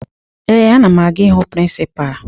Ee, ana m aga ịhụ prịnsịpaa